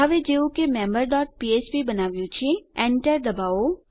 હવે જેવું કે આપણે મેમ્બર ડોટ ફ્ફ્પ બનાવ્યુ છે Enter દબાવો